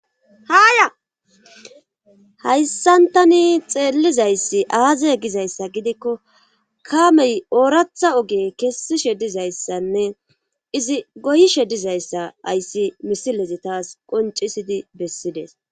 haaya hayssantani xeellizayssi aaze gizayssa gidikko kamey ooratha oge kessishe dizayssanne izi goyishe dizayssa ayssi misilezi taas qoncisidi bessides